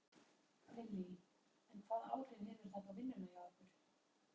Lillý: En hvaða áhrif hefur þetta á vinnuna hjá ykkur?